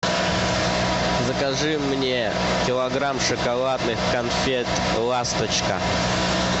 закажи мне килограмм шоколадных конфет ласточка